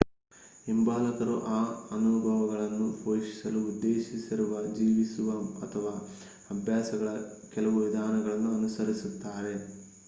ಹಿಂಬಾಲಕರು ಆ ಅನುಭವಗಳನ್ನು ಪೋಷಿಸಲು ಉದ್ದೇಶಿಸಿರುವ ಜೀವಿಸುವ ಅಥವಾ ಅಭ್ಯಾಸಗಳ ಕೆಲವು ವಿಧಾನಗಳನ್ನು ಅನುಸರಿಸುತ್ತಾರೆ